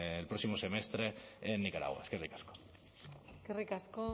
el próximo semestre en nicaragua eskerrik asko eskerrik asko